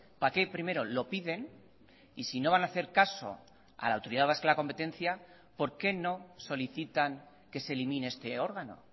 para qué primero lo piden y si no van a hacer caso a la autoridad vasca de la competencia por qué no solicitan que se elimine este órgano